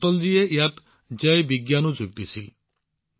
পিছত অটলজীয়ে ইয়াত জয় বিজ্ঞানো যোগ দিছিল